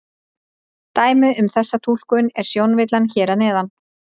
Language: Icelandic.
Dæmi um þessa túlkun er sjónvillan hér að neðan.